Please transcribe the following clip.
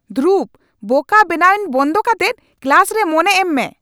ᱫᱷᱨᱩᱵ, ᱵᱳᱠᱟ ᱵᱮᱱᱟᱣᱤᱧ ᱵᱚᱱᱫᱚ ᱠᱟᱛᱮᱫ ᱠᱞᱟᱥ ᱨᱮ ᱢᱚᱱᱮ ᱮᱢ ᱢᱮ !